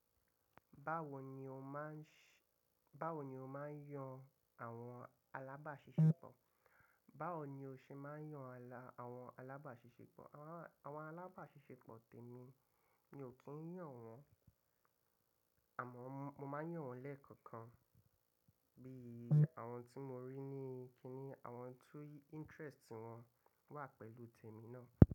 Báwo ni o máà ń yàn àwọn alábàáṣiṣẹ́pọ̀? Báwo ni o ṣe máa ń yàn àwọn alábàáṣiṣẹ́pọ̀? Àwọn alábàáṣiṣẹ́pọ̀ tèmi mi, mi ò kí ń yàn wọ́n àmọ́ mo máa ń yàn wọ́n lẹ́ẹ̀kọ̀kan bí i àwọn tí mo rí ní kíni àwọn tí interest wọn wà pẹ̀lú tèmi náà.